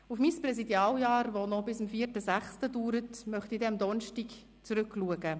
Auf mein Präsidialjahr, das noch bis zum 4. Juni dauert, möchte ich am Donnerstag zurückblicken.